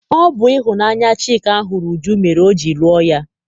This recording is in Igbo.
Ọ bụ ịhụnanya Chika hụrụ Uju mere o ji lụọ ya.